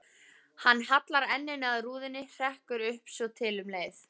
Hann hallar enninu að rúðunni, hrekkur upp svotil um leið.